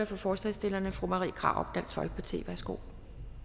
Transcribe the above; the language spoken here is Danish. for forslagsstillerne fru marie krarup dansk folkeparti værsgo